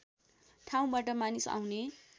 ठाउँबाट मानिस आउने